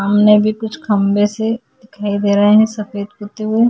सामने भी कुछ खंबे से दिखाई दे रहे हैं। सफेद कुत्ते --